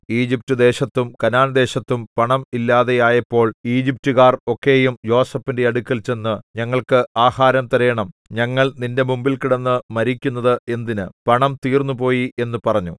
ഈജിപ്റ്റുദേശത്തും കനാൻദേശത്തും പണം ഇല്ലാതെയായപ്പോൾ ഈജിപ്റ്റുകാർ ഒക്കെയും യോസേഫിന്റെ അടുക്കൽ ചെന്ന് ഞങ്ങൾക്ക് ആഹാരം തരേണം ഞങ്ങൾ നിന്റെ മുമ്പിൽ കിടന്നു മരിക്കുന്നത് എന്തിന് പണം തീർന്നുപോയി എന്നു പറഞ്ഞു